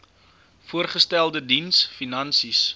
voorgestelde diens finansies